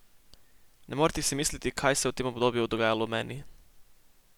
Ne morete si misliti, kaj se je v tem obdobju dogajalo v meni!